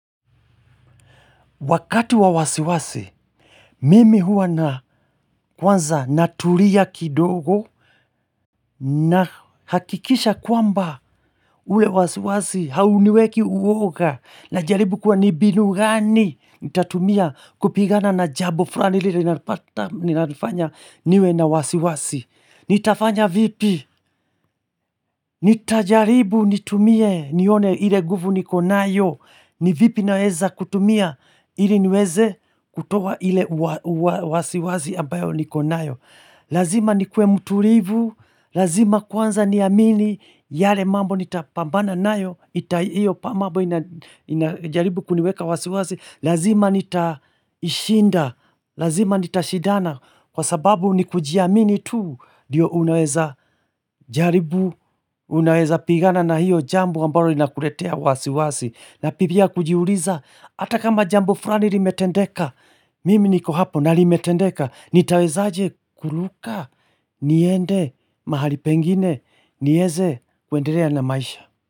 Wakati wa wasiwasi, mimi huwa na kwanza natulia kidogo na hakikisha kwamba ule wasiwasi hauniweki uoga na jaribu kwa nimbinu gani nitatumia kupigana na jambo fulani lili nalifanya niwe na wasiwasi. Nitafanya vipi, nitajaribu nitumie nione ile nguvu niko nayo, ni vipi naweza kutumia ili niweze kutoa ile wasiwszi ambayo niko nayo Lazima nikuwe mtulivu, lazima kwanza niaamini yale mambo nitapambana nayo, ita iyo pamambo inajaribu kuniweka wasiwasi Lazima nitashinda, lazima nitashidana Kwa sababu ni kujiamini tu ndio unaweza jaribu Unaweza pigana na hiyo jambo ambalo lina kuletea wasi wasi na pipia kujiuliza Ata kama jambo fulani limetendeka Mimi niko hapo na limetendeka nitaweza aje kuruka niende mahali pengine nieze kwendelea na maisha.